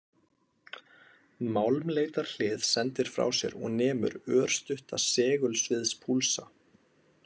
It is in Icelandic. Málmleitarhlið sendir frá sér og nemur örstutta segulsviðspúlsa.